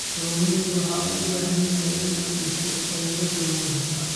Kalluumaysigu waxa uu u baahan yahay in la dhiso awoodda kalluumaysatada.